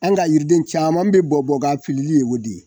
An' ka yiriden caaman be bɔ bɔ k'a filili ye o de ye.